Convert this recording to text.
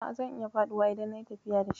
A'a, zan iya faduwa idan nayi tafiya da shi.